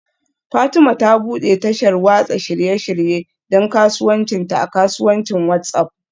Fatima ta bude tashar watsa shirye-shirye don kasuwancinta a kasuwancin WhatsApp